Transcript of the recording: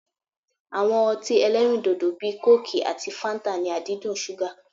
Awọn ọtí ẹlẹ́rindòdò bíi kóòkì àti fáńtà ní àdídùn ṣúgà.